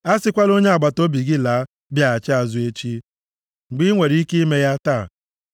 A sịkwala onye agbataobi gị laa, bịaghachi azụ echi mgbe i nwere ike ime ya taa.